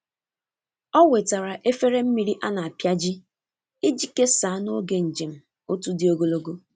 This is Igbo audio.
Ọ wetara efere mmiri a na-apịaji iji kesaa n’oge njem otu dị ogologo.